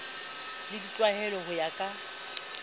le ditlwaelo ho ya ka